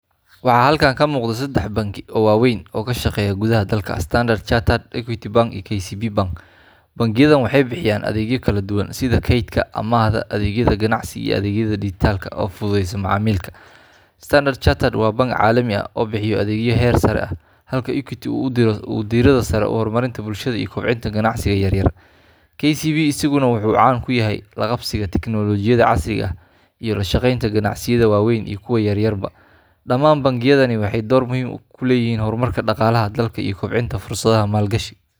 Waxaa halkan ka muuqda saddex banki oo waaweyn oo ka shaqeeya gudaha dalka: Standard Chartered, Equity Bank iyo KCB Bank. Bangiyadan waxay bixiyaan adeegyo kala duwan sida kaydka, amaahda, adeegyada ganacsiga iyo adeegyo dijitaal ah oo fududeeya macaamilka. Standard Chartered waa bank caalami ah oo bixiya adeegyo heer sare ah, halka Equity uu diiradda saaro horumarinta bulshada iyo kobcinta ganacsiga yar yar. KCB isaguna wuxuu caan ku yahay la qabsiga tiknoolajiyada casriga ah iyo la shaqeynta ganacsiyada waaweyn iyo kuwa yaryarba. Dhamaan bangiyadani waxay door muhiim ah ku leeyihiin horumarka dhaqaalaha dalka iyo kobcinta fursadaha maalgashi.